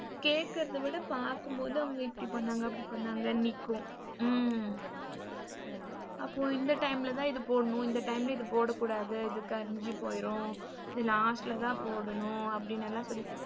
கேக்குறத விட பாக்கும்போது அவங்க இப்படி பண்ணங்க அப்படி பண்ணாங்கன்னு நிக்கும். ஹ்ம்ம் அப்போ இந்த டைம் ல தான் இது போடணும் இந்த டைம் ல இது போடகூடாது இது கரிஞ்சு போயிரும் இது last ல தான் போடணும் அப்படினுலாம் சொல்லி